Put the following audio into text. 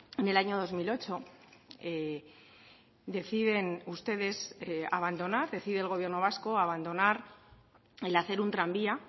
en el año dos mil ocho deciden ustedes abandonar decide el gobierno vasco abandonar el hacer un tranvía